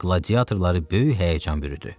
Qladiatorları böyük həyəcan bürüdü.